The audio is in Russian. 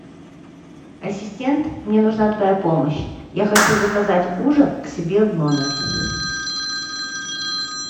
ассистент мне нужна твоя помощь я хочу заказать ужин к себе в номер